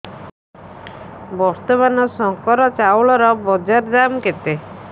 ବର୍ତ୍ତମାନ ଶଙ୍କର ଚାଉଳର ବଜାର ଦାମ୍ କେତେ